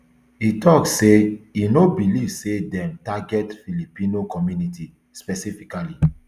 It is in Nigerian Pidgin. e tok say e no believe say dem target filipino community specifically